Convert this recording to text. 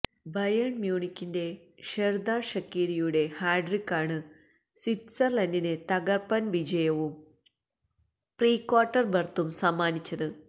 Bayern മ്യൂണിക്കിന്റെ Xherdan ഷക്കീരിയുടെ ഹാട്രിക്കാണ് സ്വിറ്റ്സര്ലന്റിന് തകര്പ്പന് വിജയവും പ്രീ ക്വാര്ട്ടര് ബര്ത്തും സമ്മാനിച്ചത്